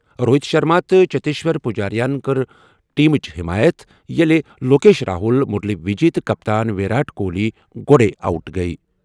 روہِت شرما تہٕ چتیشور پجاراہن کٔر ٹیمٕچ حمایت ییٚلہِ لوکیش راہول، مرلی وجے تہٕ کپتان ویرات کوہلی گۄڈَے آؤٹ گٔیہِ۔